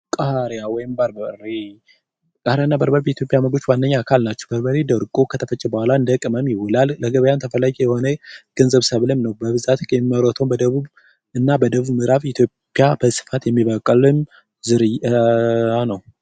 ቃሪያ ወይም በርበሬ፡ ቃሪያና በርበሬ በኢትዮጵያ ካላቸው በርበሬ ደርቆ እንደ ቅመም የሚፈጭ እና ለገበያ ተፈላጊ የሆነ ሰብልም ነው በብዛት የሚመረተው በደቡብ ኢትዮጵያ ክፍል ነው።